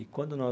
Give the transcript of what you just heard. E quando no